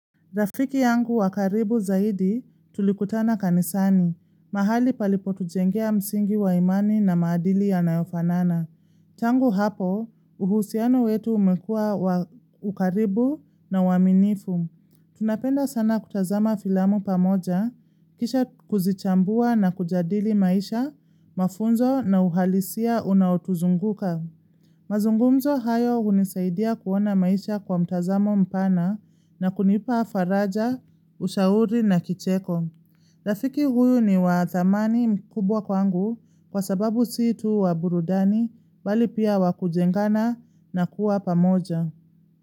Rafiki yangu wa karibu zaidi tulikutana kanisani. Mahali palipotujengea msingi wa imani na maadili yanayofanana. Tangu hapo, uhusiano wetu umekuwa wa karibu na wa uaminifu. Tunapenda sana kutazama filamu pamoja, kisha kuzichambua na kujadili maisha, mafunzo na uhalisia unaotuzunguka. Mazungumzo hayo hunisaidia kuona maisha kwa mtazamo mpana na kunipa faraja, ushauri na kicheko. Rafiki huyu ni wa thamani mkubwa kwangu kwa sababu si tu wa burudani bali pia wa kujengana na kuwa pamoja.